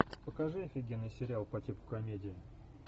покажи офигенный сериал по типу комедии